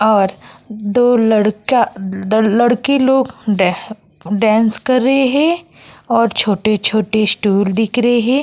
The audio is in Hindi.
और दो लड़का लड़की लोग डांस कर रहे है और छोटे-छोटे स्टूल दिख रहे है ।